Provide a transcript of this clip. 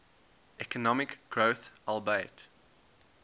economic growth albeit